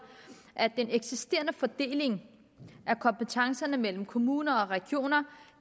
at den eksisterende fordeling af kompetencerne mellem kommuner og regioner